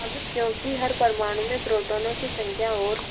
अब क्योंकि हर परमाणु में प्रोटोनों की संख्या और